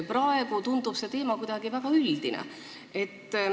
Praegu tundub see teema kuidagi väga üldine.